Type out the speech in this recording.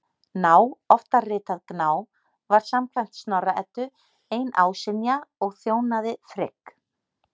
Ná, oftar ritað Gná, var samkvæmt Snorra-Eddu ein ásynja og þjónaði Frigg.